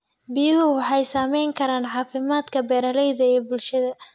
Biyuhu waxay saamayn karaan caafimaadka beeralayda iyo bulshada.